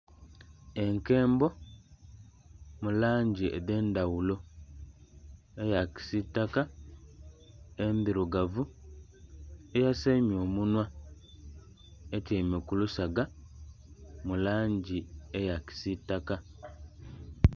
Enkembo mulangi edhendhaghulo eya kisitaka endhirugavu eyasaimya omunhwa etyaime kulusaga mulangi eya kisitaka.